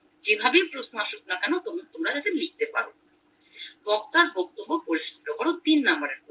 যেভাবে প্রশ্ন আসুকনা কেন তোমরা তবু তোমরা যাতে লিখেতে পারবে বক্তার বক্তব্য পরিস্রুত করো তিন নম্বরের প্রশ্ন